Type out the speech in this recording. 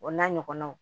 O n'a ɲɔgɔnnaw